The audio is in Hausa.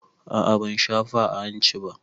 A a ban shafa a hanci ba.